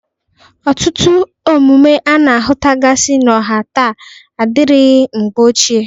Ọtụtụ omume a na-ahụtagasị n'ọha taa adịrịghị mgbe ochie.